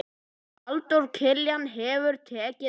Halldór Kiljan hefur tekið yfir.